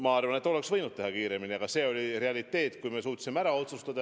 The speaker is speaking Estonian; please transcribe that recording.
Ma arvan, et oleks võinud teha kiiremini, aga see oli reaalsus, kuni me suutsime ära otsustada.